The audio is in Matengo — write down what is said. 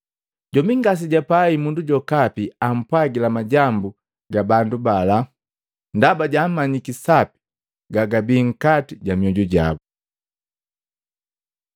Jombi ngasejapai mundu jokapi ampwagila majambu ga bandu bala ndaba jaamanyiki sapi gagabii nkati ja mioju jabu.